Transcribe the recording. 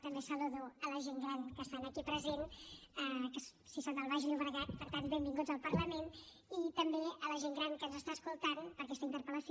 també saludo la gent gran que estan aquí presents que sí són del baix llobregat per tant benvinguts al parlament i també a la gent gran que ens està escoltant per aquesta interpel·lació